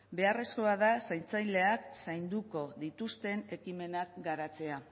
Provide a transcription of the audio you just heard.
beharrezkoa da zaintzaileak zainduko dituzten ekimenak garatzea